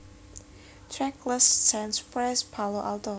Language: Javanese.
Trackless Sands Press Palo Alto